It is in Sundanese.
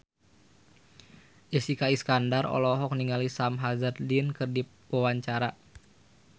Jessica Iskandar olohok ningali Sam Hazeldine keur diwawancara